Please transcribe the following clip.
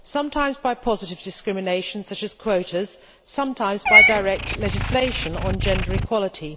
sometimes by positive discrimination such as quotas, sometimes by direct legislation on gender equality.